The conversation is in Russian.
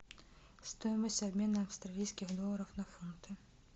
стоимость обмена австралийских долларов на фунты